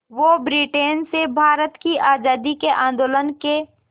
वो ब्रिटेन से भारत की आज़ादी के आंदोलन के